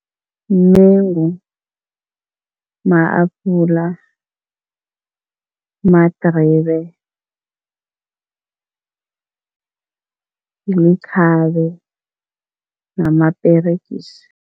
Mengu, ma-apula, madribe, likhabe namaperegisi.